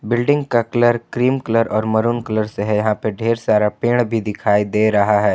Building का colour cream colour और maroon colour से है यहां पे ढेर सारा पेड़ भी दिखाई दे रहा है।